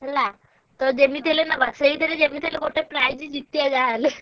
ହେଲା ତ ଯେମିତି ହେଲେ ନବା ସେଇଥିରେ ଯେମିତି ହେଲେ prize ଜିତିଆ ଯାହା ହେଲେ।